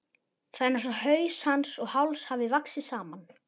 Það er einsog haus hans og háls hafi vaxið saman.